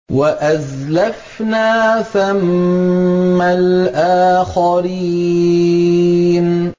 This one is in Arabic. وَأَزْلَفْنَا ثَمَّ الْآخَرِينَ